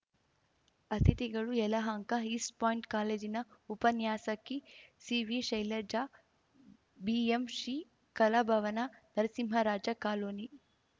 ಅತಿಥಿಗಳು Yelahanka East point ಕಾಲೇಜಿನ ಉಪನ್ಯಾಸಕಿ ಸಿವಿಶೈಲಜಾ ಬಿಎಂಶ್ರೀ ಕಲಾಭವನ ನರಸಿಂಹರಾಜ ಕಾಲೋನಿ